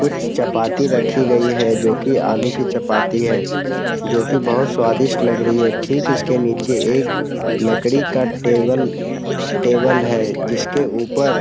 कुछ चपाती रखी गई है जो कि आलू की चपाती है जो की बहुत स्वादिष्ट लग रही है। ठीक इसके नीचे एक लकड़ी का टेबल टेबल है जिसके ऊपर --